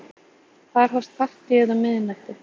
Þar hófst partíið um miðnætti.